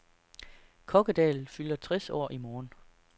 Kokkedal fylder tres år i morgen.